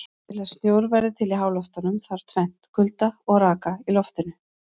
Til að snjór verði til í háloftunum þarf tvennt: Kulda og raka í loftinu.